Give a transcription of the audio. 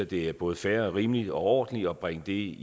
det er både fair og rimeligt og ordentligt at bringe det